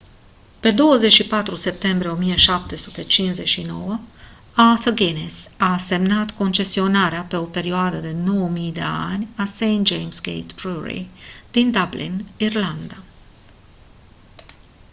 pe 24 septembrie 1759 arthur guiness a semnat concesionarea pe o perioadă de 9000 de ani a st james' gate brewery din dublin irlanda